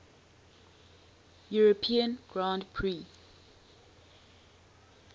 european grand prix